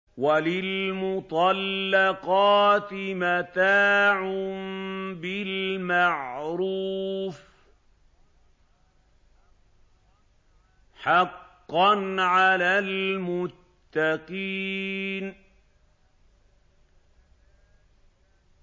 وَلِلْمُطَلَّقَاتِ مَتَاعٌ بِالْمَعْرُوفِ ۖ حَقًّا عَلَى الْمُتَّقِينَ